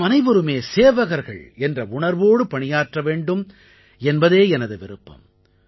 நாமனைவருமே சேவகர்கள் என்ற உணர்வோடு பணியாற்ற வேண்டும் என்பதே எனது விருப்பம்